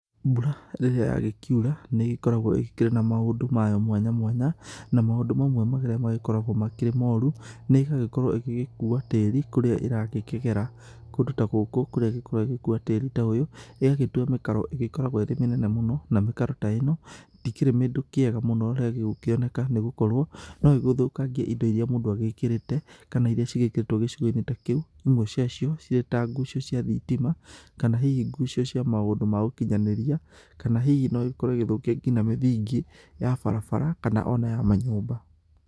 Mbura rĩrĩa yagĩkiura nĩ ĩgĩkoragwo ĩkĩrĩ na maũndũ mayo mwanya mwanya na maũndũ mamwe marĩa magĩkoragwo marĩ moru, nĩ gũgĩkorwo ĩgĩgĩkua tĩri kũrĩa ĩrakĩgera. Kũndũ ta gũkũ kũrĩa ĩgĩkoragwo ĩgĩgĩkua tĩri ta ũyũ ĩgagĩtua mĩkaro ĩgĩkoragwo ĩrĩ mĩnene mũno. Na mĩkaro ta ĩno ndĩkĩrĩ kĩndũ kĩega rĩrĩa ĩgũkorwo nĩ ĩgũkĩoneka nĩ gũkorwo no ĩgĩthũkangie indo iria mũndũ agĩkĩrĩte kana iria cigĩkĩrĩtwo gĩcigo-inĩ ta kĩu, imwe cia cio cirĩ ta ngucio cia thitima. Kana hihi ngucio cia maũndũ maũkinyanĩria kana hihi no ĩkorwo igĩthũkia ngina mĩthingi ya barabara kana ona ya manyũmba.